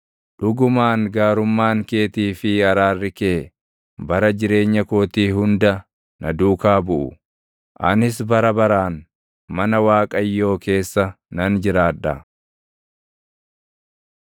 Dhugumaan gaarummaan keetii fi araarri kee, bara jireenya kootii hunda na duukaa buʼu; anis bara baraan, mana Waaqayyoo keessa nan jiraadha.